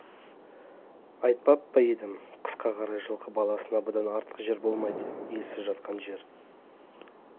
айтпап па едім қысқа қарай жылқы баласына бұдан артық жер болмайды иесіз жатқан жер